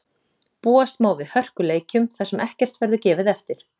Búast má við hörkuleikjum þar sem ekkert verður gefið eftir.